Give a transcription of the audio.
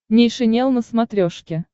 нейшенел на смотрешке